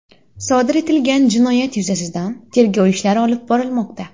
Sodir etilgan jinoyat yuzasidan tergov ishlari olib borilmoqda.